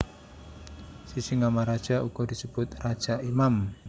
Sisingamaraja uga disebut raja imam